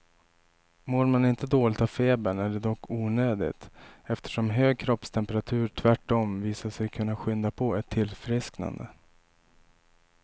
Mår man inte dåligt av febern är det dock onödigt, eftersom hög kroppstemperatur tvärtom visat sig kunna skynda på ett tillfrisknande.